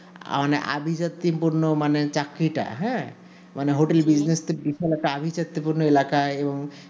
মানে অভি জাতি পূর্ণ মানে চাকরিটা মানে hotel business টা পিফলতা আভিজাত্যপূর্ণ এলাকায় এবং